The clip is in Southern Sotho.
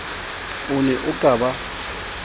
o ne o ka ba